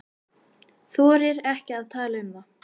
Þorir ekki að tala um það.